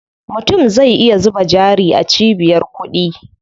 Mutum zai iya zuba jari a cibiyar kuɗi.